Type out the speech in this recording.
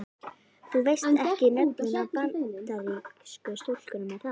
Þú veist ekki nöfnin á Bandarísku stúlkunum er það?